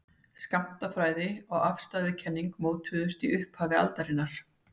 skammtafræði og afstæðiskenning mótuðust í upphafi aldarinnar